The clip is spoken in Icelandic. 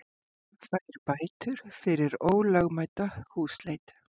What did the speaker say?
Fær bætur fyrir ólögmæta húsleit